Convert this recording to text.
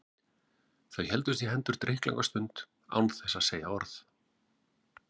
Þau héldust í hendur drykklanga stund án þess að segja orð.